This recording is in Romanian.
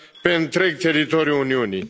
pe întreg teritoriul Uniunii.